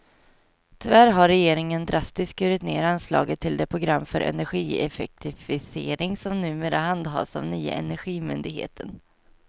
Tyvärr har regeringen drastiskt skurit ned anslaget till det program för energieffektivisering som numera handhas av nya energimyndigheten.